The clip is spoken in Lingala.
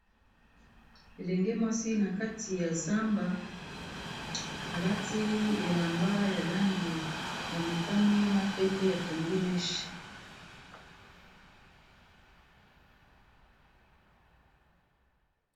Elenge mwasi na kati ya zamba, alati elamba ya langi ya motani na pembe akangi mèche.